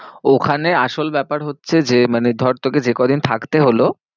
ওখানে আসল ব্যাপার হচ্ছে যে মানে ধর তোকে যে কদিন থাকতে হলো